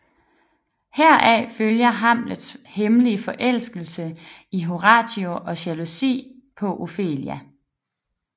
Heraf følger Hamlets hemmelige forelskelse i Horatio og jalousi på Ofelia